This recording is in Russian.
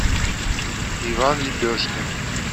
иван лепешкин